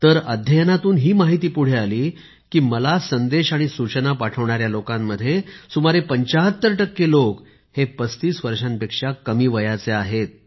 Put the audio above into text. तर अध्ययनातून ही माहिती पुढे आली की मला संदेश आणि सूचना पाठवणाऱ्या लोकांमध्ये सुमारे 75 टक्के लोक 35 वर्षांपेक्षा कमी वयाचे आहेत